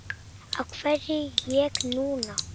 Af hverju ég núna?